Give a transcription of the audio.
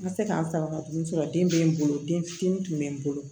N ka se k'a n sara ka tugu fɔlɔ den bɛ n bolo den fitinin tun bɛ n bolo